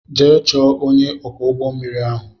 Jee chọọ ọnye ọkwọ ụgbọ mmiri ahụ!!!